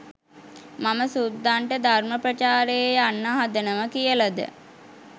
මම සුද්දන්ට ධර්ම ප්‍රචාරයේ යන්න හදනවා කියලද